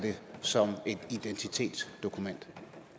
som et identitetsdokument